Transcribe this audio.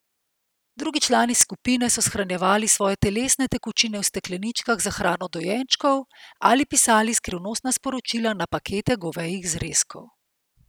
Drugi člani skupine so shranjevali svoje telesne tekočine v stekleničkah za hrano dojenčkov ali pisali skrivnostna sporočila na pakete govejih zrezkov.